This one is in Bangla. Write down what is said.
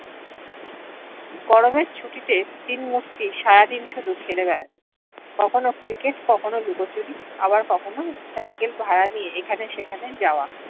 গরমের ছুটিতে তিন মূর্তি সারা দিন শুধু খেলে বা কখনও ক্রিকেট কখন ও লুকোচুরি আবার কখন ও সাইকেল ভাড়া নিয়ে এখানে সেখানে যাওয়া